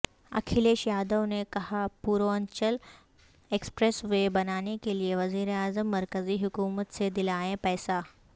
اکھلیش یادو نے کہاپوروانچل expressway بنانے کیلئے وزیراعظم مرکزی حکومت سے دلائیں پیسہ